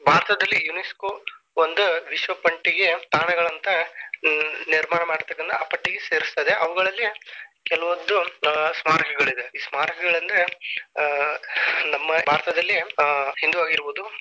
ಭಾರತದಲ್ಲಿ UNESCO ಒಂದ ವಿಶ್ವಪಟ್ಟಿಗೆ ತಾಣಗಳಂತ ನಿರ್ಮಾಣ ಮಾಡ್ತಕಂತ ಆ ಪಟ್ಟಿಗೆ ಸೇರಸ್ತದೆ ಅವುಗಳಲ್ಲಿ ಕೆಲವೊಂದು ಸ್ಮಾರಕಗಳಿದೆ ಈ ಸ್ಮಾರಕಗಳೆಂದರೆ ಆ ನಮ್ಮ ಭಾರತದಲ್ಲಿ ಹಿಂದೂ ಆಗಿರಬಹುದು.